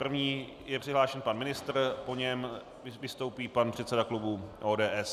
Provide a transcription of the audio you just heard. První je přihlášen pan ministr, po něm vystoupí pan předseda klubu ODS.